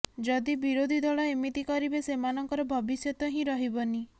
ଯଦି ବିରୋଧୀ ଦଳ ଏମିତି କରିବେ ସେମାନଙ୍କର ଭବିଷ୍ୟତ ହିଁ ରହିବନି